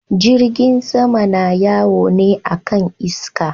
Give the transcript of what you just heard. Jirgin sama na yawo ne akan iska.